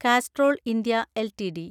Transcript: Castrol India LTD